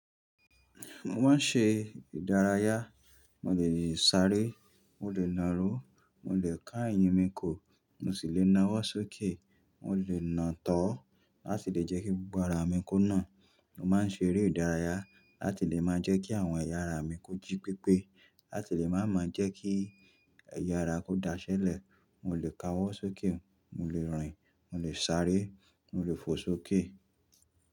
Mo máa ń ṣe ìdárayá, mo lè sáré, mo lè nàró, mo lè ká eyín mi ko, mo sì lè nawọ́ sókè. Mo lè nà án tọo láti lè jẹ́ kí gbogbo ara mi kó nà. Mo máa ń ṣe eré ìdárayá láti lè máa jẹ́ kí àwọn ẹ̀yà ara mi kójí pípé, láti lè máa máa jẹ́ kí ẹ̀yà ara kó daṣẹ́lẹ̀. Mo lè kawó sókè, mo lè rìn, mo lè sáré, mo lè fò sókè.